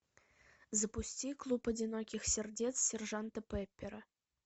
запусти клуб одиноких сердец сержанта пеппера